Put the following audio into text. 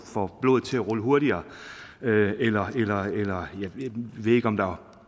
får blodet til at rulle hurtigere eller jeg ved ikke om der